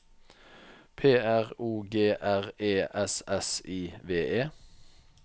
P R O G R E S S I V E